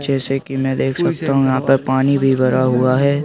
जैसे की मैं देख सकता हूं यहां पर पानी भी भरा हुआ है।